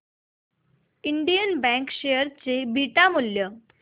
Indian bank share चे beta मूल्य